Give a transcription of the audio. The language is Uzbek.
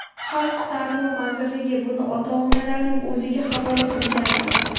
Xalq ta’limi vazirligi buni ota-onalarning o‘ziga havola qilgandi.